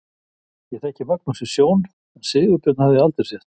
Ég þekkti Magnús í sjón en Sigurbjörn hafði ég aldrei séð.